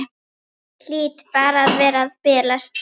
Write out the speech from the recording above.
Hlýt bara að vera að bilast.